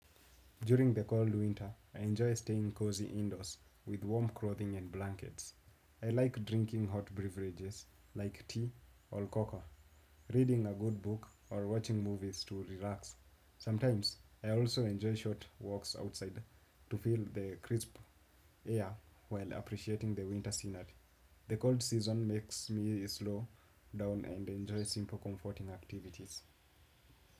During the cold winter i enjoy staying close to windows clothing and blankets, i like drinking hot beverages like tea of coca, reading a good book or watching movies to relax. Sometimes I also enjoy short walk outside to feel the crisp air while appreciating winter scenary, the cold season makes me slow down and enjoy simple comforting activities.